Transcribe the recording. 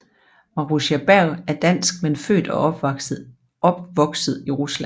Marussia Bergh er Dansk men født og opvokset i Rusland